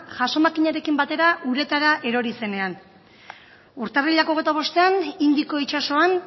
jaso makinarekin batera uretara erori zenean urtarrilak hogeita bostean indiko itsasoan